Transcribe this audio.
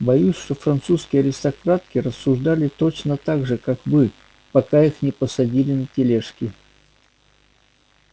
боюсь что французские аристократки рассуждали точно так же как вы пока их не посадили на тележки